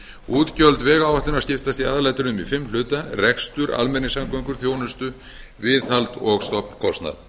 útgjöld vegáætlunar skiptast í aðalatriðum í fimm hluta rekstur almenningssamgöngur þjónustu viðhald og stofnkostnað